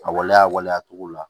A waleya waleya togo la